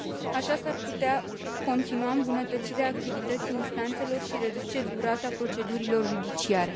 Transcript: Astfel, s ar putea continua îmbunătățirea activității instanțelor și reduce durata procedurilor judiciare.